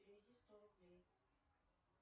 переведи сто рублей